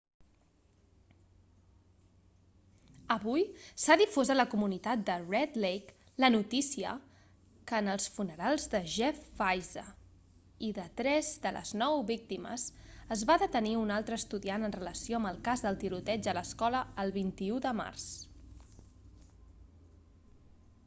avui s'ha difós a la comunitat de red lake la notícia que en els funerals de jeff weise i de tres de les nou víctimes es va detenir un altre estudiant en relació amb el cas del tiroteig a l'escola el 21 de març